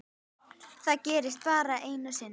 Það gerðist bara einu sinni.